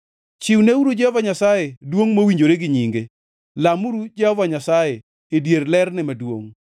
Chiwneuru Jehova Nyasaye duongʼ mowinjore gi nyinge; lamuru Jehova Nyasaye e dier lerne maduongʼ.